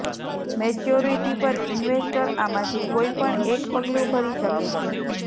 maturity પર investor આમાંથી કોઈપણ એક પગલું ભરી શકે છે